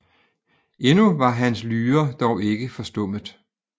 Endnu var hans Lyre dog ikke forstummet